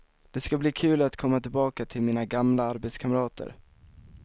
Det ska bli kul att komma tillbaka till mina gamla arbetskamrater.